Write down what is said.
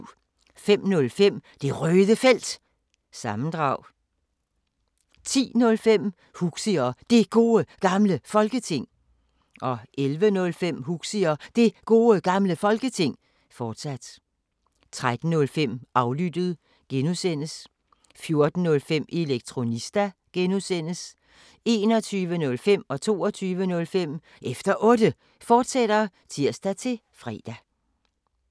05:05: Det Røde Felt – sammendrag 10:05: Huxi og Det Gode Gamle Folketing 11:05: Huxi og Det Gode Gamle Folketing, fortsat 13:05: Aflyttet (G) 14:05: Elektronista (G) 21:05: Efter Otte, fortsat (tir-fre) 22:05: Efter Otte, fortsat (tir-fre)